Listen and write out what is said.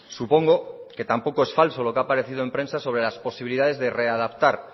supongo que tampoco es falso lo que ha aparecido en prensa sobre las posibilidades de readaptar